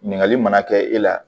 Ɲininkali mana kɛ e la